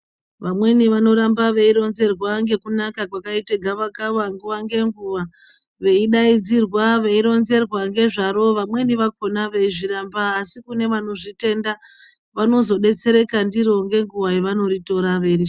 Vamweni vanoramba veironzerwa nekunaka kwakaita gava kava nguwa ngenguwa veidaidzira veironzerwa nezvaro vamweni vakona veizviramba asi kune vanozvitenda vanozodetsereka ndiri ngenguwa yavanoritora veirishandisa.